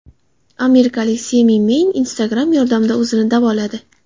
Amerikalik Semi Meyn Instagram yordamida o‘zini davoladi.